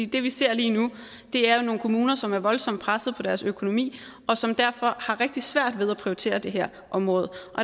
det vi ser lige nu er jo nogle kommuner som er voldsomt presset på deres økonomi og som derfor har rigtig svært ved at prioritere det her område